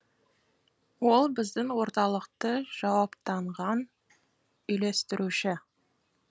ол біздің орталықты жауаптанған үйлестіруші